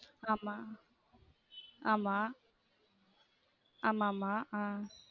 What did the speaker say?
ஆமா ஆமா ஆமாமா ஆஹ்